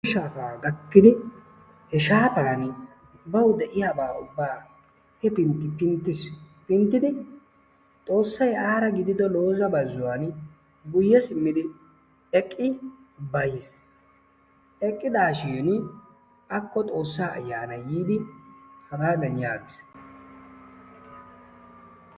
Shaafaa gaakkidi he shaafaani bawu de'iyaabaa ubbaa hefintti pinttiis. Pinttidi xoossay aara gidido looza bazzuwaani guyye simmidi eqqi bayiis. eqqidaashin akko xoossaa ayyanay yiidi hagaadan yaagiis.